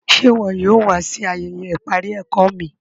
Ṣè iwọ yóò wà sí ayéyé iparí ẹ̀kọ mi?